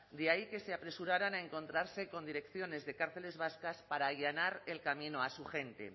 de ahí que se apresuraran a encontrarse con direcciones de cárceles vascas para allanar el camino a su gente